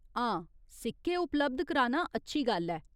हां, सिक्के उपलब्ध कराना अच्छी गल्ल ऐ।